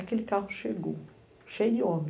Aquele carro chegou, cheio de homem.